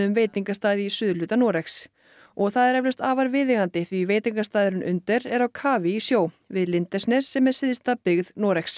veitingastað í suðurhluta Noregs og það er eflaust afar viðeigandi því veitingastaðurinn Under er á kafi í sjó við Lindesnes sem er syðsta byggð Noregs